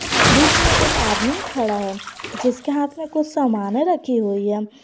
बीच में एक आदमी खड़ा है जिसके हाथ में कुछ सामान रखी हुई है।